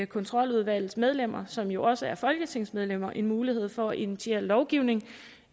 kontroludvalgets medlemmer som jo også er folketingsmedlemmer en mulighed for at initiere lovgivning